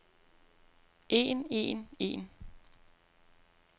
en en en